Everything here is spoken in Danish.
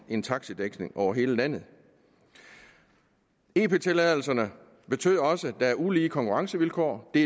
en taxidækning over hele landet ep tilladelserne betød også at der var ulige konkurrencevilkår det